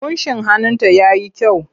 Ƙunshin hannunta ya yi kyau.